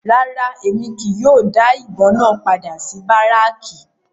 Rárá, Emi kii yóò da ibon náa pada si Baracki